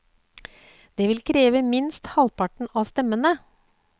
Det vil kreve minst halvparten av stemmene.